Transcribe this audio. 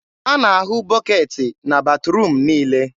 a na-ahụ bọketị na batruum niile.